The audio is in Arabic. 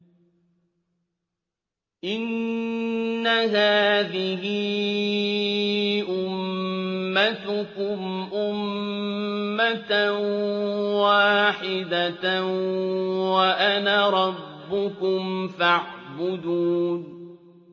إِنَّ هَٰذِهِ أُمَّتُكُمْ أُمَّةً وَاحِدَةً وَأَنَا رَبُّكُمْ فَاعْبُدُونِ